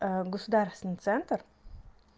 государственный центр